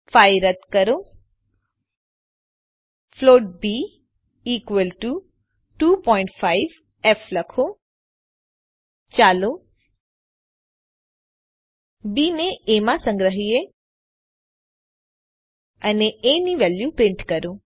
5 રદ કરો float b equal to 25ફ લખો ચાલો બી ને એ માં સંગ્રહીયે અને એ ની વેલ્યુ પ્રિન્ટ કરો